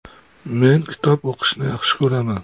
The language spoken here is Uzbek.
Men kitob o‘qishni yaxshi ko‘raman.